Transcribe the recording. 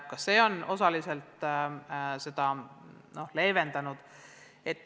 Ka see on osaliselt olukorda leevendanud.